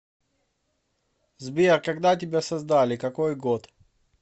сбер когда тебя создаликакой год